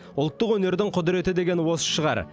ұлттық өнердің құдіреті деген осы шығар